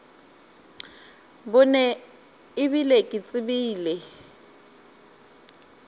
bone e bile ke tsebile